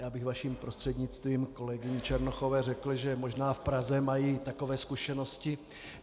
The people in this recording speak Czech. Já bych vaším prostřednictvím kolegyni Černochové řekl, že možná v Praze mají takové zkušenosti.